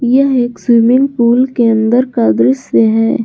यह एक swimming pool के अंदर का दृश्य है।